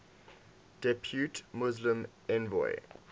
depute muslim envoy